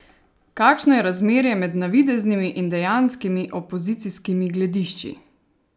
Kakšno je razmerje med navideznimi in dejanskimi opozicijskimi gledišči?